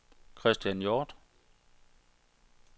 Christian Hjort